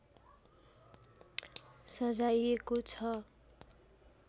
सजाइएको छ